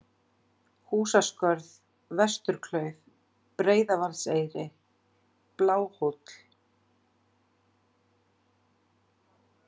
Húsaskörð, Vesturklauf, Breiðavaðseyri, Bláhóll